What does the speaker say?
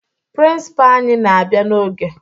Prịnsịpaa anyị na-abịa n'oge